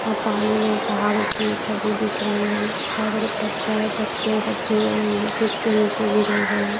और पानी में पहाड़ों की छवि दिख रही है बहुत सारे पत्थर है पत्ते सब चुअअ सुख के नीचे गिरे हुए हैं।